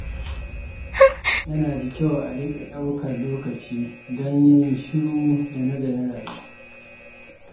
Yana da kyau a riƙa ɗaukar lokaci don yin shiru da nazarin rayuwa.